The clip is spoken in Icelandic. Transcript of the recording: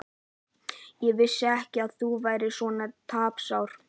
Ég vissi ekki að þú værir svona tapsár.